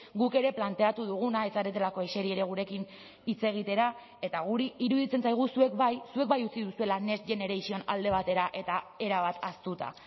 guk ere planteatu duguna ez zaretelako eseri ere gurekin hitz egitera eta guri iruditzen zaigu zuek bai zuek bai utzi duzuela next generation alde batera eta erabat ahaztuta